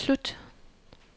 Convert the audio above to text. slut